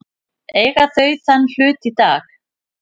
Eiga þau þann hlut í dag.